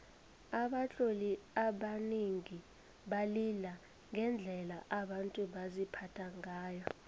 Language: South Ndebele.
abatloli abanengi balila ngendlela abantu baziphatha ngayo